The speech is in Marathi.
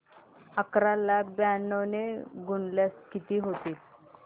अकरा ला ब्याण्णव ने गुणल्यास किती होतील